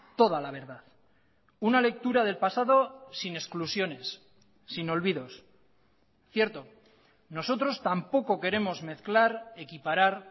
toda la verdad una lectura del pasado sin exclusiones sin olvidos cierto nosotros tampoco queremos mezclar equiparar